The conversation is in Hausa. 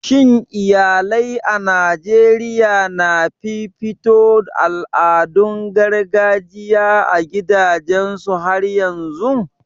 Shin iyalai a Najeriya na fifito al'adun gargajiya a gidajensu har yanzun?